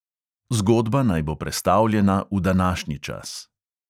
Zgodba naj bo prestavljena v današnji čas.